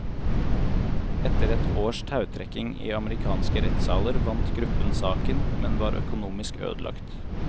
Etter et års tautrekking i amerikanske rettssaler vant gruppen saken, men var økonomisk ødelagt.